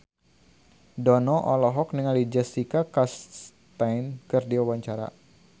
Dono olohok ningali Jessica Chastain keur diwawancara